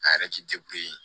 A yɛrɛ ti